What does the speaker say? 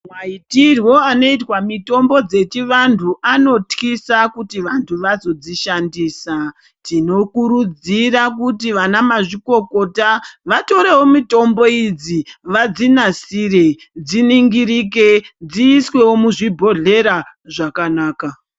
Maitirwo anoitwa mitombo dzechivanhu anotyisa kuti vantu vazodzishandisa, tinokurudzira kuti vana mazvikokota vatorewo mitombo idzi vadzinasire dziningirike dziiswewo muzvibhodhlera zvakanaka.